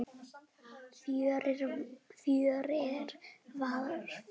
Fjórir var fínt.